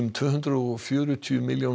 tvö hundruð og fjörutíu milljónir